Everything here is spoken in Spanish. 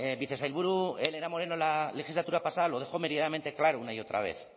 vicesailburu elena moreno la legislatura pasada lo dejó meridianamente claro una y otra vez